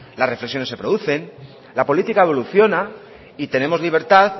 las reflexiones se producen la política evoluciona y tenemos libertad